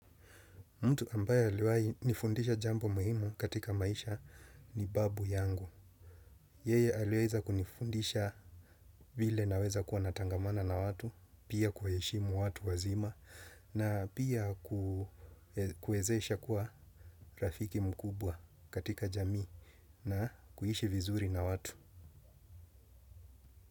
Mtu ambaye aliwahi nifundisha jambo muhimu katika maisha ni babu yangu. Yeye aliweza kunifundisha vile naweza kuwa natangamana na watu, pia kuheshimu watu wazima, na pia kuwezesha kuwa rafiki mkubwa katika jamii. Na kuishi vizuri na watu.